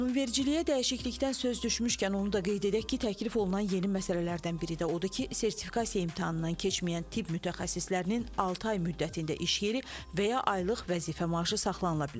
Qanunvericiliyə dəyişiklikdən söz düşmüşkən, onu da qeyd edək ki, təklif olunan yeni məsələlərdən biri də odur ki, sertifikasiya imtahanından keçməyən tibb mütəxəssislərinin altı ay müddətində iş yeri və ya aylıq vəzifə maaşı saxlanıla bilər.